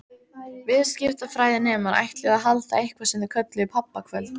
Viðskiptafræðinemar ætluðu að halda eitthvað sem þeir kölluðu pabbakvöld.